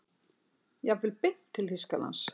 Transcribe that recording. Jafnvel beint til Þýskalands.